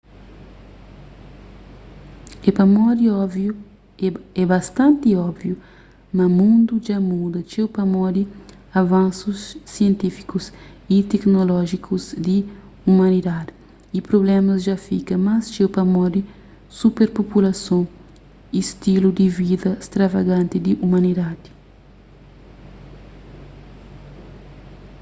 é bastanti óbviu ma mundu dja muda txeu pamodi avansus sientífikus y teknolójikus di umanidadi y prublémas dja fika más txeu pamodi superpopulason y stilu di vida stravaganti di umanidadi